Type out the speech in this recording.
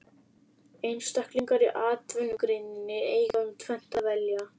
Einstaklingar í atvinnugreininni eiga um tvennt að velja.